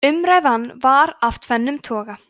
umræðan var af tvennum toga